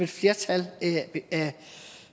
flertal